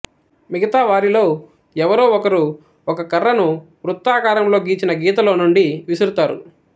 మిగతా వారిలో ఎవరో ఒకరు ఒక కర్రను వృత్తాకారంలో గీచిన గీతలోనుండి విసురుతారు